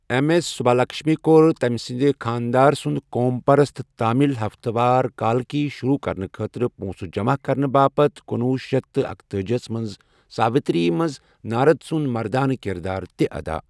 M S Subbulakshmi كوٚر، تمہِ سندِس خانٛدار سُنٛد قوم پرست تامل ہفتہٕ وار کالکی شروع كرنہٕ خٲطرٕ پونٛسہٕ جمع كرنہٕ باپتھ کُنوُہ شیٚتھ تہٕ اکتٲجی ہس منٛز ساوتری منٛز نارد سُنٛد مردانہٕ کِردار تہِ ادا ۔